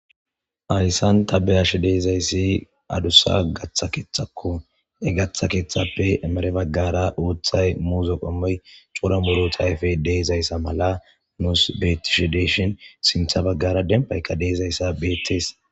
Hayssan ta bea'she dizzayssi adusa katha kethako he katha kethape emere bagara uthay muzze qomoy cora muruthay ayfe di'zays mala nuss bethishe de'shin sintha bagara dembayka di'zays bethess.